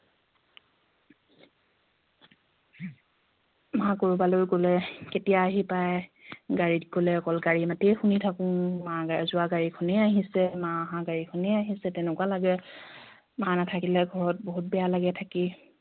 মা কৰবালৈ গলে কেতিয়া আহি পায় গাড়ীত গলে অকল গাড়ীৰ মাতে শুনি থাকোঁ মা যোৱা গাড়ীখনে আহিছে মা অহা গাড়ীখনে আহিছে তেনেকুৱা লাগে মা নাথাকিলে ঘৰত বহুত বেয়া লাগে থাকি